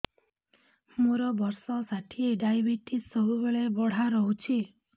ମୋର ବର୍ଷ ଷାଠିଏ ଡାଏବେଟିସ ସବୁବେଳ ବଢ଼ା ରହୁଛି